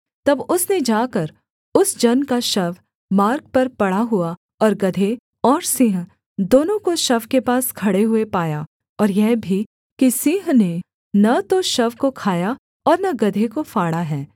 तब उसने जाकर उस जन का शव मार्ग पर पड़ा हुआ और गदहे और सिंह दोनों को शव के पास खड़े हुए पाया और यह भी कि सिंह ने न तो शव को खाया और न गदहे को फाड़ा है